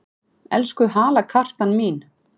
Elsku halakartan mín!